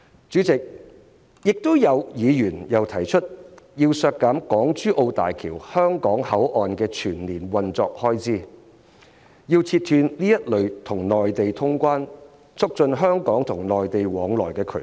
主席，議員又提出削減港珠澳大橋香港口岸的全年運作開支，要切斷這類與內地通關、促進香港與內地往來的渠道。